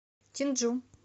чинджу